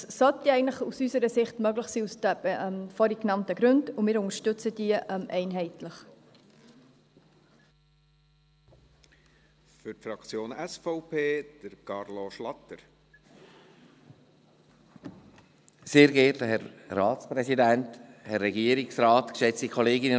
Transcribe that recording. Das sollte ja eigentlich aus unserer Sicht aus den vorhin genannten Gründen möglich sein, und wir unterstützen sie einheitlich.